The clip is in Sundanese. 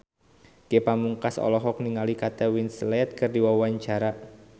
Ge Pamungkas olohok ningali Kate Winslet keur diwawancara